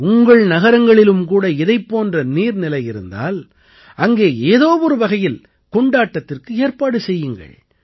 உங்கள் நகரங்களிலும் கூட இதைப் போன்ற நீர்நிலை இருந்தால் அங்கே ஏதோ ஒரு வகையில் கொண்டாட்டத்திற்கு ஏற்பாடு செய்யுங்கள்